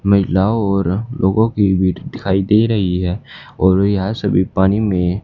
महिलाओं और लोगों की भीड़ दिखाई दे रही है और यहाँ सभी पानी में--